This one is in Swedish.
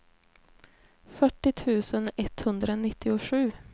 fyrtio tusen etthundranittiosju